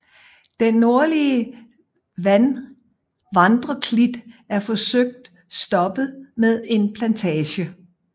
Den nordlige vandreklit er forsøgt stoppet med en plantage